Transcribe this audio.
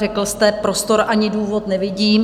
Řekl jste: prostor ani důvod nevidím.